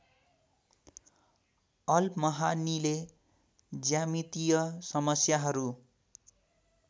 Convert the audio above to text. all महानिले ज्यामितीय समस्याहरू